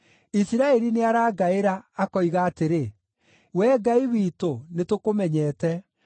Isiraeli nĩarangaĩra, akoiga atĩrĩ, ‘Wee Ngai witũ, nĩtũkũmenyete!’